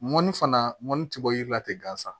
Mɔni fana mɔni ti bɔ yiri la ten gansan